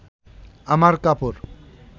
আমার কাপড়